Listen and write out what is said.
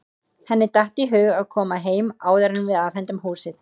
Henni datt í hug að koma heim áður en við afhendum húsið.